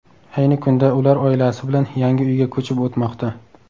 Ayni kunda ular oilasi bilan yangi uyga ko‘chib o‘tmoqda.